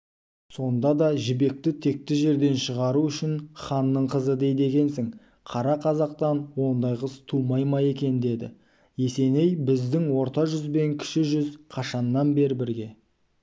сонда да жібекті текті жерден шығару үшін ханның қызы дейді екенсің қара қазақтан ондай қыз тумай ма екен деді есеней біздің орта жүз бен кіші жүз қашаннан бе бірге